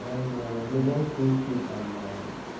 он в любом случае там